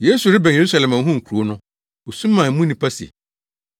Yesu rebɛn Yerusalem a ohuu kurow no, osu maa mu nnipa no se,